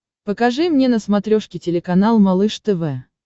покажи мне на смотрешке телеканал малыш тв